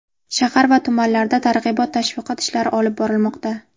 Shahar va tumanlarda targ‘ibot-tashviqot ishlari olib borilmoqda.